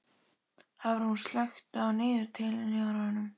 Hafrún, slökktu á niðurteljaranum.